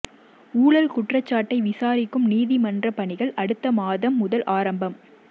ஊழல் குற்றச்சாட்டை விசாரிக்கும் நீதிமன்ற பணிகள் அடுத்த மாதம் முதல் ஆரம்பம்